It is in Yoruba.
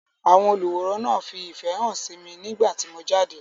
Àwọn olùwòran fi ìfẹ hàn sí mi nígbà tí mo jáde.